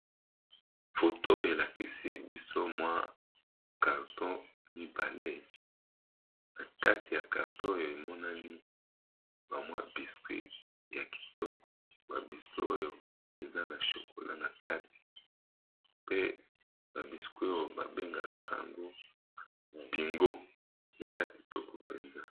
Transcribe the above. Foto elakisi biso mwa carton mibale na kati ya carton oyo emonani ba mwa biscuit ya kitoko ba biscuit oyo eza na chokola na kati pe ba biscuit oyo babengaka yango " bingo " eza kitoko mpenza.